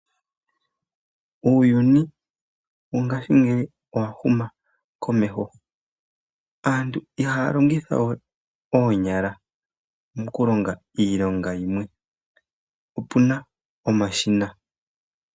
Uuyuni wo ngashingeyi owa huma komeho, aantu ihaya longithawe oonyala moku longa iilonga yimwe opuna omashina.